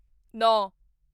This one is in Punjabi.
ਨੌਂ